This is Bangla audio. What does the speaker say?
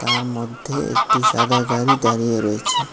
তার মধ্যে একটি সাদা গাড়ি দাঁড়িয়ে রয়েছে।